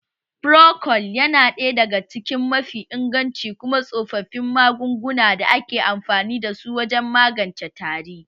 Frocold ya na ɗaya daga cikin mafi inganci kuma tsoffin magungunan da ake amfani da su wajen magance tari